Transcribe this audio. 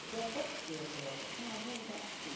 Podia até ter droga, tinha algum lugar que tinha.